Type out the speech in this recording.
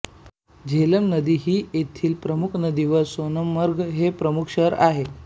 झेलम नदी ही येथील प्रमुख नदी व सोनमर्ग हे प्रमुख शहर आहे